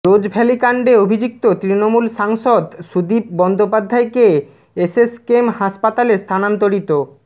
রোজ ভ্যালি কাণ্ডে অভিযুক্ত তৃণমূল সাংসদ সুদীপ বন্দ্যোপাধ্যায়কে এসএসকেএম হাসপাতালে স্থানান্তরিত